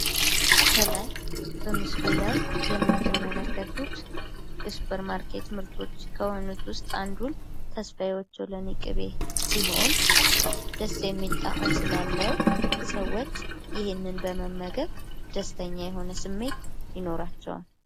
ከላይ በምስሉ ላይ የምትመለከቱት የሱፐር ማርኬት ምርቶች ከሆኑት ውስጥ አንዱን ተስፋ የኦቾሎኒ ቅቤ ሲሆን ደስ የሚል ጣዕም ስላለው ሰዎች ይህንን በመመገብ ደስተኛ የሆነ ስሜት ይኖራቸዋል።